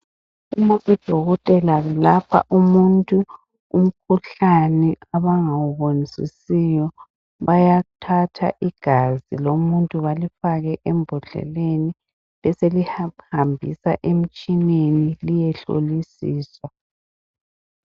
Udokotela ulapha umuntu umkhuhlane abangawuboni sisiyo bayathatha igazi lomuntu belifake embodleleni beselihanjiswa emitshineni liye hlolisiswa.